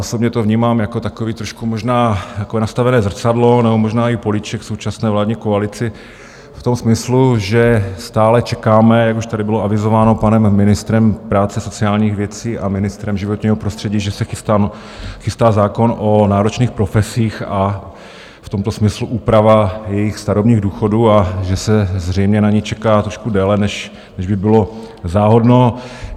Osobně to vnímám jako takové trošku možná nastavené zrcadlo nebo možná i políček současné vládní koalici v tom smyslu, že stále čekáme, jak už tady bylo avizováno panem ministrem práce sociálních věcí a ministrem životního prostředí, že se chystá zákon o náročných profesích, a v tomto smyslu úprava jejich starobních důchodů, a že se zřejmě na ni čeká trošku déle, než by bylo záhodno.